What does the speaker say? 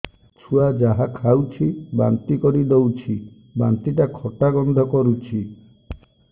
ଛୁଆ ଯାହା ଖାଉଛି ବାନ୍ତି କରିଦଉଛି ବାନ୍ତି ଟା ଖଟା ଗନ୍ଧ କରୁଛି